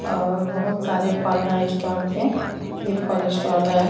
और बहुत सारे फल हैं स्टॉल पे ये फल स्टॉल है।